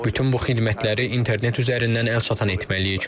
Bütün bu xidmətləri internet üzərindən əlçatan etməliyik.